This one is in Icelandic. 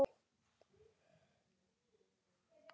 Þú ert ekkert veikur.